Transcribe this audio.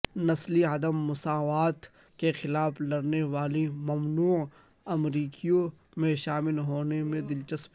نسلی عدم مساوات کے خلاف لڑنے والی ممنوع امریکیوں میں شامل ہونے میں دلچسپی